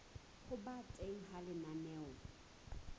ho ba teng ha lenaneo